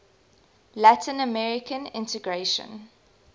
latin american integration